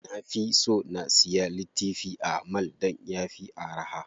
Na fi so na siya littifi a mall dan yafi araha.